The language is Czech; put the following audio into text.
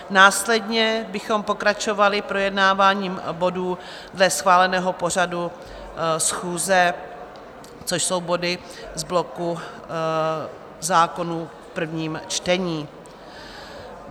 Následně bychom pokračovali projednáváním bodů dle schváleného pořadu schůze, což jsou body z bloku zákonů v prvním čtení.